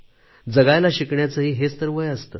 जगायला शिकण्याचेही हेच तर वय असते